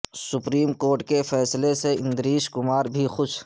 supreme court کے فیصلے سے اندریش کمار بھی خوش